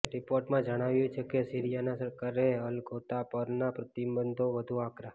રિપોર્ટમાં જણાવાયું છે કે સીરિયાની સરકારે અલ ઘૌતા પરના પ્રતિબંધો વધુ આકરા